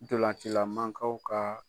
Ntolancilan mankaw ka